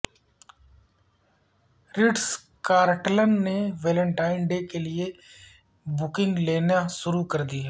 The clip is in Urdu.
رٹز کارلٹن نے ویلنٹائن ڈے کے لیے بکنگ لینی شروع کر دی ہے